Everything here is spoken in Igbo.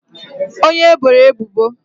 onye e boro ebubo